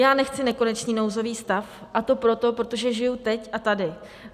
Já nechci nekonečný nouzový stav, a to proto, protože žiju teď a tady.